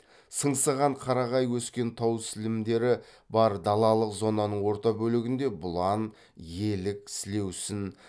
сыңсыған қарағай өскен тау сілемдері бар далалық зонаның орта бөлігінде бұлан елік сілеусін